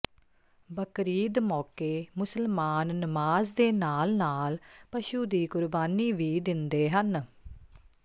ਬਕਰੀਦ ਮੌਕੇ ਮੁਸਲਮਾਨ ਨਮਾਜ਼ ਦੇ ਨਾਲ ਨਾਲ ਪਸ਼ੂ ਦੀ ਕੁਰਬਾਨੀ ਵੀ ਦਿੰਦੇ ਹਨ